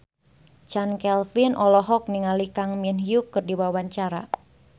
Chand Kelvin olohok ningali Kang Min Hyuk keur diwawancara